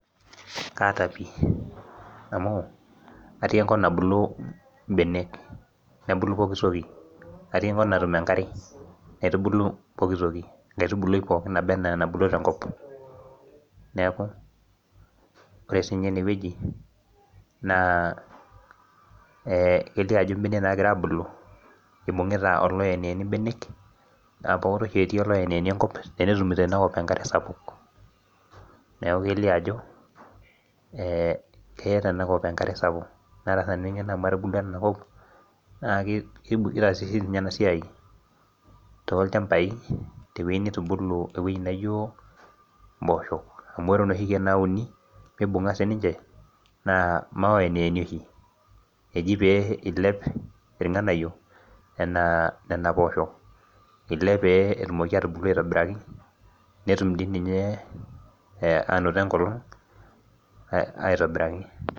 Kaata pii amu atii enkop nabulu imbenek nebulu pokitoki natii enkop natum enkare naitubulu pokitoki enkaitubului pookin naba enaa enabulu tenkop neeku ore sinye enewueji naa eh kelio ajo imbenek nagira abulu ibung'ita oloyeniyeni imbenek naa pokota oshi etii oloyeniyeni enkop tenetumito inakop enkare sapuk neku kelio ajo eh keeta enakop enkare sapuk naata sinanu eng'eno amu atubulua tinakop naa kei kitaasi sininye ena siai tolchambai tewueji nitubulu ewueji naijio imposho amu ore inoshi keek nauni mibung'a sininche naa maoyeniyeni oshi eji pee ilep irng'anayio enaa nena poosho ilep pee etumoki atubulu aitobiraki netum dii ninye anoto enkolong ae aitobiraki.